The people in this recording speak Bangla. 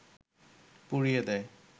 পুড়িয়ে দেয়